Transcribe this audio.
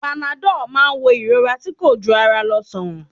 Panadọ́ọ̀ má ń wo ìrora tí kò jù ara lọ sàn.